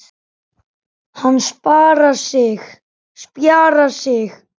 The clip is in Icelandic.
Hann spjarar sig.